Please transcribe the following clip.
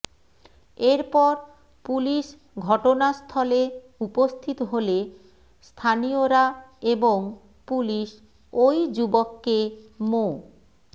এর পর পুলিশ ঘটনাস্থলে উপস্থিত হলে স্থানীয়রা এবং পুলিশ ওই যুবককে মো